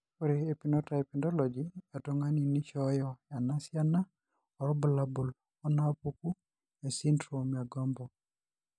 Ore ephenotype ontology etung'ani neishooyo enasiana oorbulabul onaapuku esindirom eeGOMBO.